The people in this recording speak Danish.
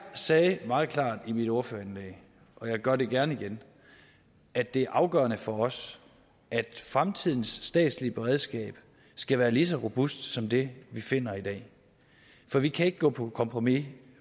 sagde meget klart i mit ordførerindlæg og jeg gør det gerne igen at det er afgørende for os at fremtidens statslige beredskab skal være lige så robust som det vi finder i dag for vi kan ikke gå på kompromis